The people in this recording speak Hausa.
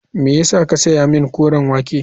Me ya sa ka saya min koren wake.